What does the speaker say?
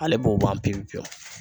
Ale b'o ban pewu pewu.